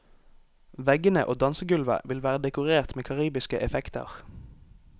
Veggene og dansegulvet vil være dekorert med karibiske effekter.